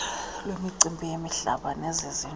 elemicimbi yemihlaba nelezindlu